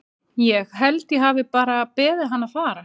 Ég. held ég hafi bara beðið hann að fara.